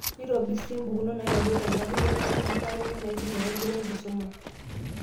Neitobirri sii impikunot naitodolu enkarriyano wonkidimat enye naaidim aitobirra enkisuma.